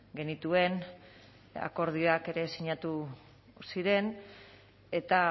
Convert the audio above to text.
genituen akordioak ere sinatu ziren eta